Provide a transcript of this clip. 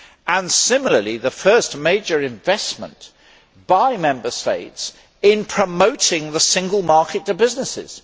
and similarly the first major investment by Member States in promoting the single market to businesses.